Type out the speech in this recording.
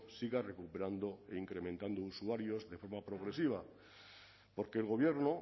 siga recuperando e incrementando usuarios de forma progresiva porque el gobierno